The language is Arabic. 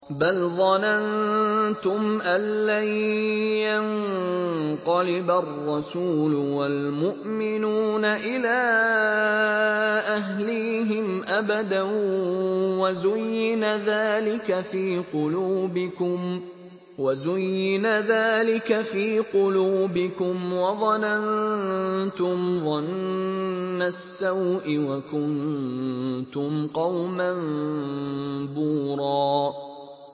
بَلْ ظَنَنتُمْ أَن لَّن يَنقَلِبَ الرَّسُولُ وَالْمُؤْمِنُونَ إِلَىٰ أَهْلِيهِمْ أَبَدًا وَزُيِّنَ ذَٰلِكَ فِي قُلُوبِكُمْ وَظَنَنتُمْ ظَنَّ السَّوْءِ وَكُنتُمْ قَوْمًا بُورًا